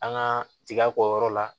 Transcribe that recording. An ka tiga k'o yɔrɔ la